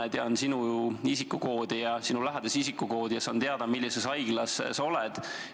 Ma tean sinu isikukoodi ja sinu lähedase isikukoodi ja saan teada, millises haiglas sa oled.